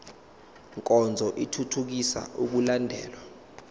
nkonzo ithuthukisa ukulandelwa